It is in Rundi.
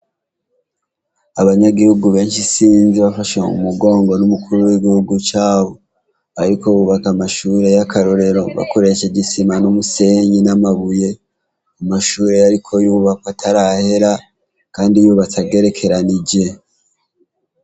Abanyagihugu benshi bafashwe mu mugongo n'umukuru w'Igihugu cabo bariko bubaka amashure y'akarorero bakoresheje isima n'umusenyi n'amabuye, amashure ariko arubakwa atarahera kandi yubatse agerekeranyije.